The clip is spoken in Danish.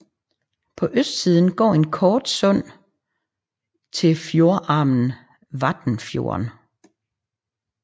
På østsiden går et kort sund ind til fjordarmen Vatnfjorden